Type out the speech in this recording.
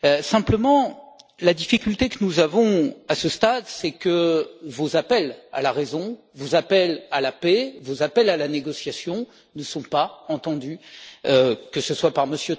Simplement, la difficulté que nous avons à ce stade, c'est que vos appels à la raison, vos appels à la paix, vos appels à la négociation ne sont pas entendus, que ce soit par M.